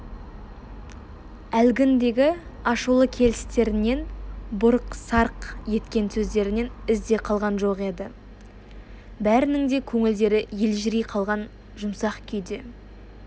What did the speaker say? әлгіндегі ашулы келістерінен бұрқ-сарқ еткен сөздерінен із де қалған жоқ еді бәрінің де көңілдері елжірей қалған жұмсақ күйде